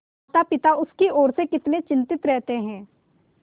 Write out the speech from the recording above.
मातापिता उसकी ओर से कितने चिंतित रहते हैं